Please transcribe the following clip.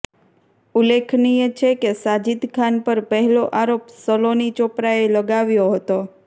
ઉલ્લેખનીય છે કે સાજિદ ખાન પર પહેલો આરોપ સલોની ચોપરાએ લગાવ્યો હતો